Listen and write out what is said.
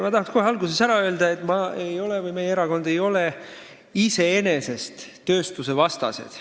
Ma tahaks kohe alguses ära öelda, et mina ja meie erakond ei ole iseenesest tööstuse vastased.